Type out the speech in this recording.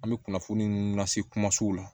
An bɛ kunnafoni nun lase kumasiw la